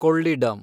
ಕೊಳ್ಳಿಡಮ್